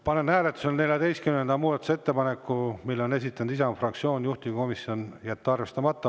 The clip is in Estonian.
Panen hääletusele 14. muudatusettepaneku, mille on esitanud Isamaa fraktsioon, juhtivkomisjon: jätta arvestamata.